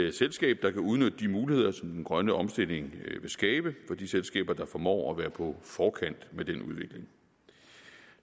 et selskab der kan udnytte de muligheder som den grønne omstilling vil skabe for de selskaber der formår at være på forkant med den udvikling